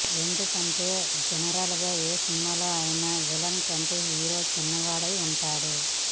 ఎందుకంటే జనరల్ గా ఏ సినిమాలోనైనా విలన్ కంటే హీరో చిన్నవాడై ఉంటాడు